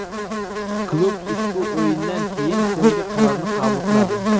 Klub ushbu o‘yindan keyin so‘nggi qarorni qabul qiladi.